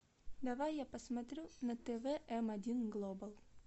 давай я посмотрю на тв м один глобал